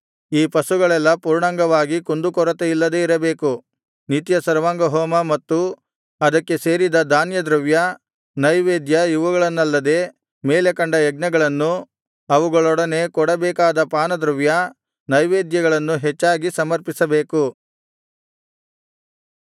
ಈ ಪಶುಗಳೆಲ್ಲಾ ಪೂರ್ಣಾಂಗವಾಗಿ ಕುಂದುಕೊರತೆ ಇಲ್ಲದೆ ಇರಬೇಕು ನಿತ್ಯ ಸರ್ವಾಂಗಹೋಮ ಮತ್ತು ಅದಕ್ಕೆ ಸೇರಿದ ಧಾನ್ಯದ್ರವ್ಯ ನೈವೇದ್ಯ ಇವುಗಳನ್ನಲ್ಲದೆ ಮೇಲೆ ಕಂಡ ಯಜ್ಞಗಳನ್ನೂ ಅವುಗಳೊಡನೆ ಕೊಡಬೇಕಾದ ಪಾನದ್ರವ್ಯ ನೈವೇದ್ಯಗಳನ್ನೂ ಹೆಚ್ಚಾಗಿ ಸಮರ್ಪಿಸಬೇಕು